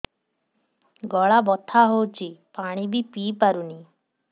ଗଳା ବଥା ହଉଚି ପାଣି ବି ପିଇ ପାରୁନି